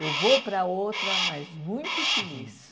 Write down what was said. Eu vou para outra, mas muito feliz.